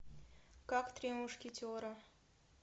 как три мушкетера